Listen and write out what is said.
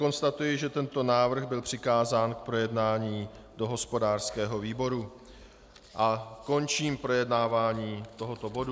Konstatuji, že tento návrh byl přikázán k projednání do hospodářského výboru, a končím projednávání tohoto bodu.